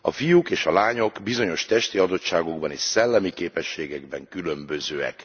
A fiúk és a lányok bizonyos testi adottságokban és szellemi képességekben különbözőek.